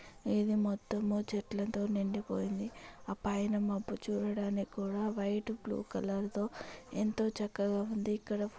ఇది మొత్తము చెట్లతో నిండిపోయింది ఆ పైన మబ్బు చూడటానికి కూడా వైట్ బ్లూ కలర్ తో ఎంతో చక్కగా ఉంది. ఇక్కడ --